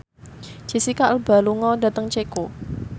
Jesicca Alba lunga dhateng Ceko